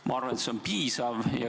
Ma arvan, et see on piisav.